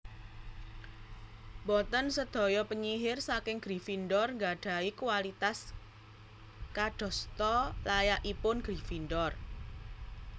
Boten sedaya penyihir saking Gryffindor nggadahi kualitas kadasta layakipun Gryffindor